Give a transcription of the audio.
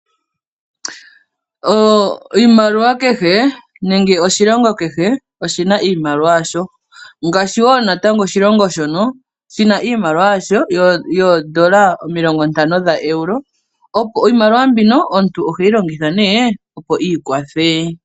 Iimaliwa kehe nenge oshilongo kehe oshina iimaliwa yasho ngaashi wo natango oshilongo shono shina iimaliwa yasho yoondola omilongo ntano dha Euro .Iimaliwa mbino omuntu oheyi longitha ne opo ikwathe.